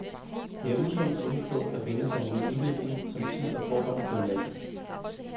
Det er usundt og uklogt at vende sig imod en udvikling, som tid og forhold fører med sig.